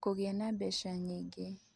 Kũgĩa na Mbeca Nyingĩ